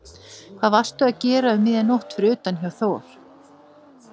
Hvað varstu að gera um miðja nótt fyrir utan hjá Þor